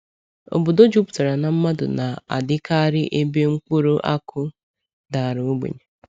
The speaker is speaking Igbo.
Obodo jupụtara na mmadụ na-adịkarị ebe mkpụrụ akụ dara ogbenye.